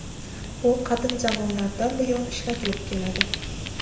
U qadim zamonlardan buyon ishlatilib keladi.